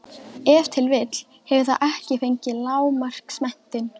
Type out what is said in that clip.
Ef til vill hefur það ekki fengið lágmarksmenntun.